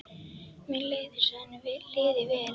Mér leið eins og henni liði vel.